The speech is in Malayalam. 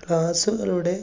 class ലൂടെ